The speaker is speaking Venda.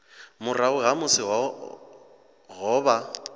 murahu ha musi ho vha